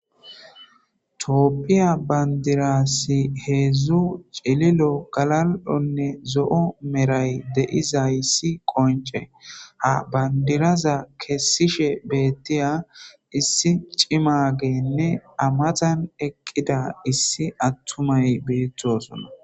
tooppiya bandirassi heedzdzu celilo galal7onne zo7o meray de7iza'issi qonce ha bandiraza kessishe beettiya issi cimageenne amatan eqqida issi attumay beettosona